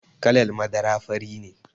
Kalar madara fari ne.